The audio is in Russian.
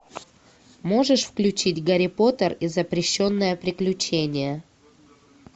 можешь включить гарри поттер и запрещенное приключение